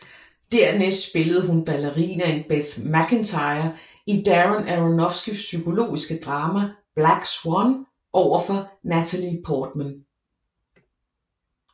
Dernæst spillede hun ballerinaen Beth Macintyre i Darren Aronofskys psykologiske drama Black Swan overfor Natalie Portman